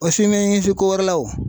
O ko wɛrɛ la o